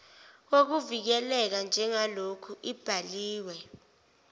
wokuvikeleka njengaloku ibhaliwe